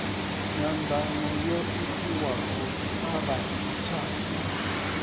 nyanḓano yo itiwaho a vhadzitshaka